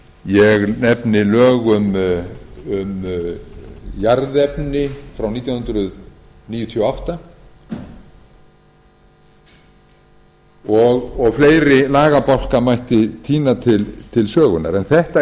ég nefni lög um jarðefni frá nítján hundruð níutíu og átta og fleiri lagabálka mætti tína til sögunnar en þetta